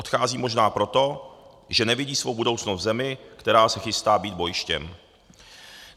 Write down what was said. Odcházejí možná proto, že nevidí svou budoucnost v zemi, která se chystá být bojištěm.